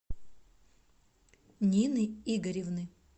нины игоревны